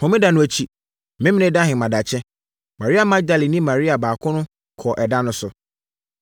Homeda no akyi, Memeneda ahemadakye, Maria Magdalene ne Maria baako no kɔɔ ɛda no so.